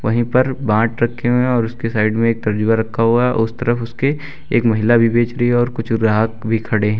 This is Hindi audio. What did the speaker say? वहीं पर बांट रखे हुए हैं और उसके साइड में एक तरजुआ रखा हुआ है उस तरफ उसके एक महिला भी बेच रही है और कुछ ग्राहक भी खड़े--